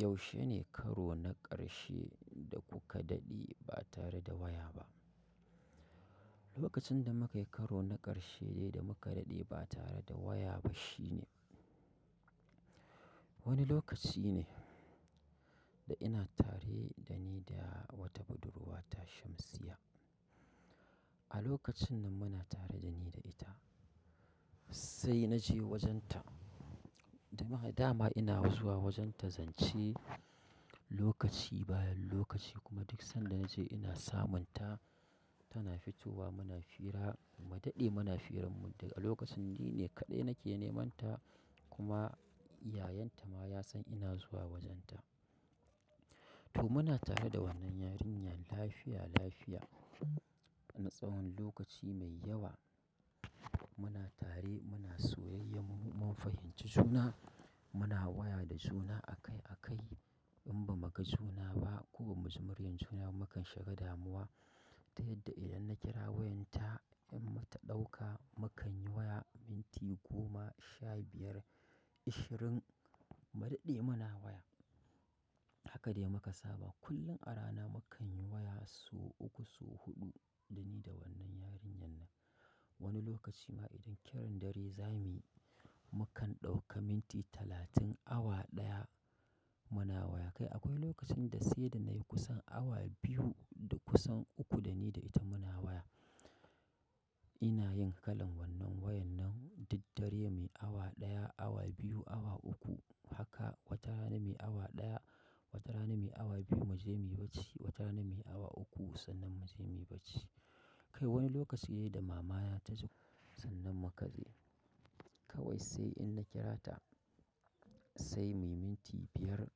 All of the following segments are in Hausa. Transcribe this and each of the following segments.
Yaushe ne karo na ƙarshe da kuka daɗe ba tare da waya ba? Lokacin da mukayi karo na ƙarshe dai da muka daɗe ba tare da waya ba shine wani lokaci ne da ina tare dani da wata budurwata Shamsiyya. A lokacin da muna tare dani da ita sai naje wajen ta. Damaha dama ina zuwa wajenta zance lokaci bayan lokaci kuma duk sanda nace ina samun ta tana fitowa muna fira, mu daɗe muna firammu daga lokacin ni ne kaɗai nake neman ta kuma yayanta ma ya san ina zuwa wajenta. To muna tare da wannan yarinyar lafiya-lafiya wani tsawon lokaci mai yawa. Muna tare muna soyayyam mun fahimci juna, muna waya da juna akai-akai in bamuka suna ba ko ba muji muryan junaba mu kan shiga damuwa, ta yadda idan na kira wayan ta in bata ɗauka mu kanyi waya minti goma, sha biyar, ashirin mu daɗe muna waya. Haka dai muka saba kullum a rana mu kanyi waya so uku, so huɗu dani da wannan yarinyan nan. Wani lokaci ma idan kiran dare zamiyi, mu kan ɗauka minti talatin, awa ɗaya muna waya. Kai akwai lokacin da sai da nayi kusan awa biyu da kusan uku dani da ita muna waya. Inayin kalan wannan wayan nan duddare me awa ɗaya, awa biyu, awa uku haka watarana mai awa ɗaya, watarana mai awa biyu muje muyi bacci, watara mai awa uku sannan muje muyi bacci. Kai wani lokaci dai da mamaya ta zo sannan mu kaje. Kawai sai in na kira ta sai muyi minti biyar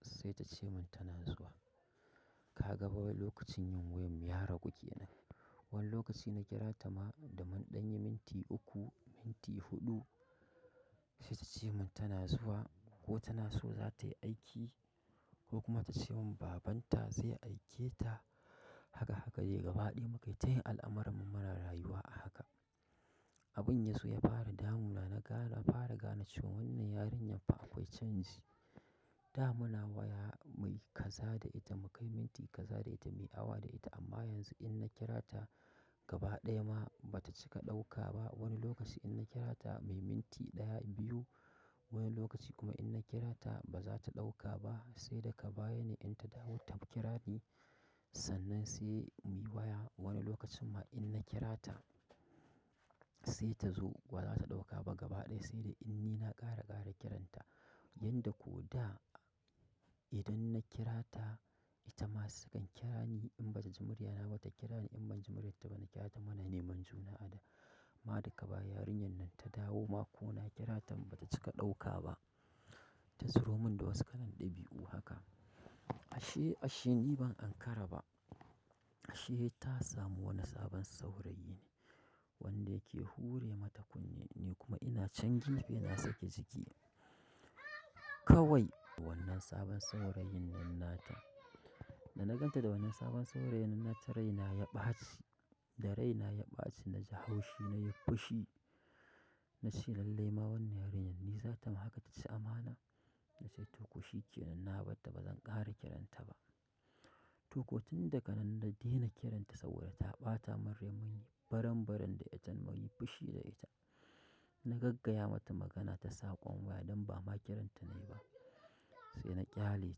sai tace min tana zuwa. Ka ga ba lokacin yin wayan ya ragu kenan. Wani lokaci na kira ta ma da mun ɗanyi minti uku, minti huɗu se tace mun tana zuwa ko tana so za tayi aiki ko kuma tace min babanta zai aike ta haka-haka dai gaba ɗaya mukayi tayin al'amarmu muna rayuwa a haka. Abun yazo ya fara damuna agara fara gane cewan wannan yarinyaffa akwai canji da muna waya muyi kaza da ita mukai minti kaza da ita muyi awa da ita amma yanzun inna kirata. Gaba ɗaya ma bata cika ɗauka ba. Wani lokaci inna kira ta muyi minti ɗaya, biyu wani lokaci kuma inna kira ta baza ta ɗauka ba sai daka baya ne in ta dawo ta kira ni sannan sai muyi waya. Wani lokacin ma i na kira ta sai tazo bazata ɗauka ba gaba ɗaya sai dai in ni na ƙara --ƙara kiranta. Yanda ko da idan na kirata itama sakan kira ni in bata ji muryana bata kirani in banji muryarta bana kirata muna neman juna a da. Ma daka baya yarinyan nan ta dawo ma kona kiratan bata cika ɗauka ba. Ta tsiro mun da wasu kalan ɗabi'u haka. Ashe-ashe ni ban ankara ba. Ashe ta samu wani sabon saurayi ne wanda yake hure mata kunne ni kuma ina chan fe na sake jiki. Kawai wannan sabon saurayin nan nata. Dana ganta da wannan sabon saurayin nata raina ya ɓaci, da raina ya ɓaci na ji haushi na yi fushi. Na she lalle ma wannan yarinyar ni za tama haka taci amana? Na ce to ko shikenan na batta bazan ƙara kiranta ba. To ko tun daka nan na dena kiranta saboda ta ɓata min raini, baran-baran da ita muyi fishi da ita. Na gaggaya mata magana ta saƙon waya don bama kiranta nayi ba. Sai na ƙyale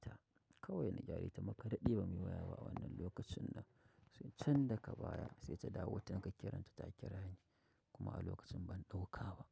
ta. Kawai na ƙyale ta muka daɗe bamu yi waya ba, a wannan lokacin din. Sai can daka baya sai ta dawo taka kiran ta takirani kuma a lokacin ban ɗauka ba.